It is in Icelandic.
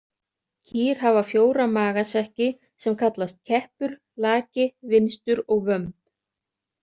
Kýr hafa fjóra magasekki sem kallast keppur, laki, vinstur og vömb.